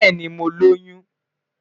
Bẹẹni, Mo loyun